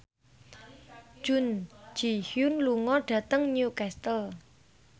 Jun Ji Hyun lunga dhateng Newcastle